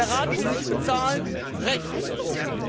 Der Rat will nicht bezahlen Rechtsbruch!